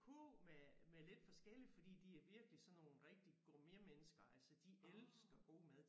Kurv med med lidt forskelligt fordi de er virkelig sådan nogle rigtige gourmetmennesker altså de elsker god mad